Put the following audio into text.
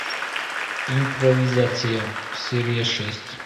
импровизация серия шесть